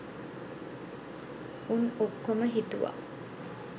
උන් ඔක්කොම හිතුව